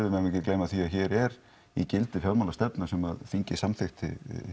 við megum ekki gleyma því að hér er í gildi fjármálastefna sem þingið samþykkti